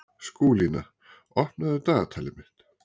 Skúlína, opnaðu dagatalið mitt.